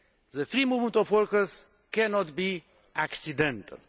The free movement of workers cannot be accidental.